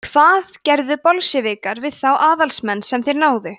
hvað gerðu bolsévikar við þá aðalsmenn sem þeir náðu